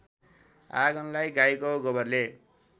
आँगनलाई गाईको गोबरले